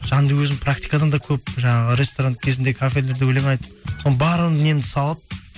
жанды өзім практикадан да көп жаңағы ресторан кезінде кафелерде өлең айтып сол барын немді салып